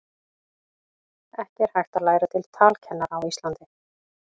ekki er hægt að læra til talkennara á íslandi